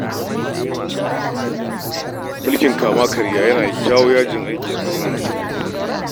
Mulkin kama-karya yana jawo yajin aiki sosai a ƙasar nan